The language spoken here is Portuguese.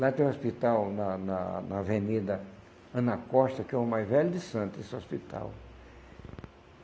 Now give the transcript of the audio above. Lá tem um hospital na na na Avenida Ana Costa, que é o mais velho de Santos, esse hospital.